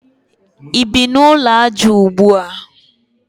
I bi n'ụlọ aja ugbua?